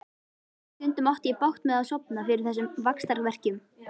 Stundum átti ég bágt með að sofna fyrir þessum vaxtarverkjum.